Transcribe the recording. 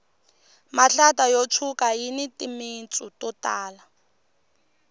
mihlata yo tshuka yini timitsu to tala